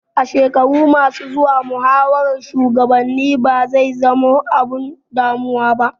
A shekaru ma su zuwa muhawaran shugabanni ba zai zama abun damuwa ba